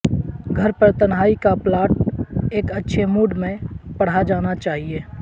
گھر پر تنہائی کا پلاٹ ایک اچھے موڈ میں پڑھا جانا چاہئے